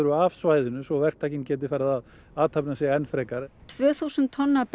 af svæðinu svo verktakinn geti farið að athafna sig enn frekar tvö þúsund tonn af